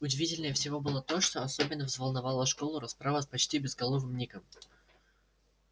удивительнее всего было то что особенно взволновала школу расправа с почти безголовым ником